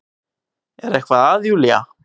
Er eitthvað að Júlía?